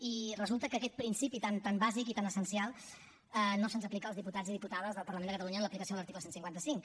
i resulta que aquest principi tan bàsic i tan essencial no se’ns aplica als diputats i diputades del parlament de catalunya en l’aplicació de l’article cent i cinquanta cinc